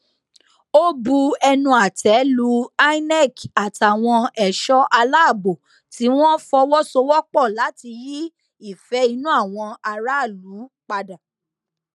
ó bu ẹnu àtẹ lu inec àtàwọn ẹṣọ aláàbò tí wọn fọwọ sowọpọ láti yí ìfẹ inú àwọn aráàlú padà